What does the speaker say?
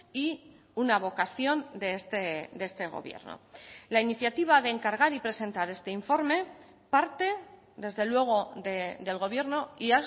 y una vocación de este gobierno la iniciativa de encargar y presentar este informe parte desde luego del gobierno y